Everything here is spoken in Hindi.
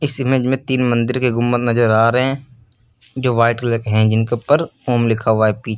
इस इमेज में तीन मंदिर के घूमर नजर आ रहे हैं। जो वाइट कलर के है जिनके ऊपर ओम लिखा हुआ है पीछे--